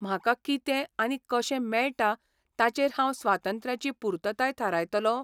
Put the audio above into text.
म्हाका कितें आनी कशें मेळटा ताचेर हांव स्वातंत्र्याची पुर्तताय थारायतलों?